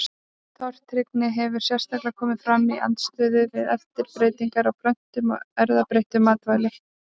Tortryggnin hefur sérstaklega komið fram í andstöðu við erfðabreytingar á plöntum og erfðabreytt matvæli.